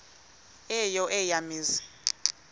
eyo eya mizi